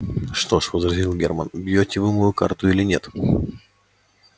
что ж возразил германн бьёте вы мою карту или нет